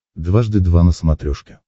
дважды два на смотрешке